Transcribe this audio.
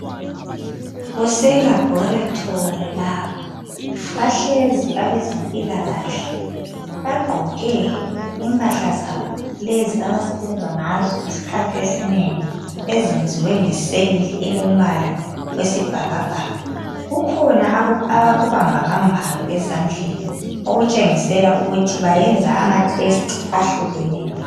Kuselabhoretri lapha, bahlezi abezempilakahle, bagqoke impahla zabo (lezi abasebenza ngazo iskhathi esinengi) ezenziwe ngeseyili elombala wesibhakabhaka. Kukhona abakubambabambayo ezandleni, okutshengisela ukuthi bayenza amathesti ahlukeneyo.